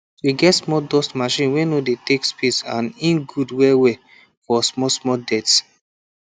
we get small dust machine wey no de take space and e good well well for smallsmall dirt